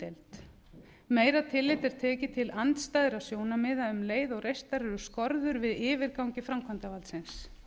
umdeild meira tillit er tekið til andstæðra sjónarmiða um leið og reistar eru skorður við yfirgangi framkvæmdarvaldsins